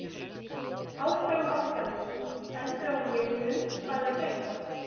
Áfram Álftanes.Eldra úr liðnum Hvað er að frétta?